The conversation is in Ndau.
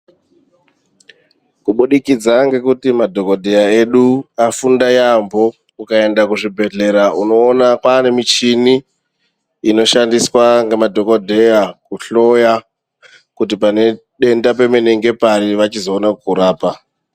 Kubudikidza ngekuti madhokodheya edu afunda yaambo ukaenda kuzvibhedhlera unoona kwaane michini inoshandiswa ngemadhokodheya kuhloya kuti pane denda pemene ngepari kuti vachizoona kukurapa.